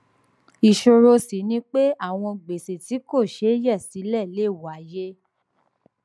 ìṣòro ṣì ni pé àwọn gbèsè tí kò ṣeé yè sílè lè wáyé